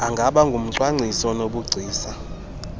angaba ngumcwangcisi onobugcisa